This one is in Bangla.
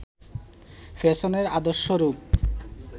পেছনের আদর্শ রূপ